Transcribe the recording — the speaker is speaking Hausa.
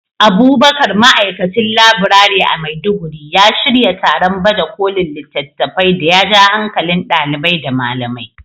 Abubakar, Ma’aikacin Laburare a Maiduguri, ya shirya taron baje kolin littafai da ya ja hankalin ɗalibai da malamai.